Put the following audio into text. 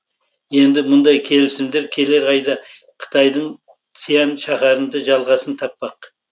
енді мұндай келісімдер келер айда қытайдың сиань шаһарында жалғасын таппақ